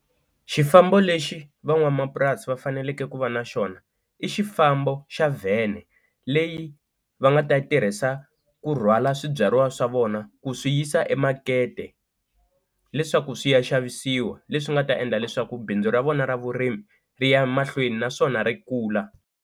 Xifambo lexi van'wamapurasi va faneleke ku va na xona i xifambo xa vhene leyi va nga ta tirhisa ku rhwala swibyariwa swa vona ku swi yisa emakete leswaku swi ya xavisiwa leswi nga ta endla leswaku bindzu ra vona ra vurimi ri ya mahlweni naswona ri kula.